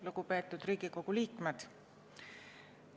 Lugupeetud Riigikogu liikmed!